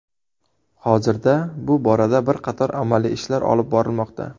Hozirda bu borada bir qator amaliy ishlar olib borilmoqda.